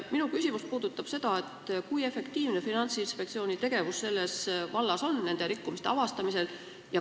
Minu küsimus puudutab seda, kui efektiivne on Finantsinspektsiooni tegevus selles vallas, nende rikkumiste avastamisel.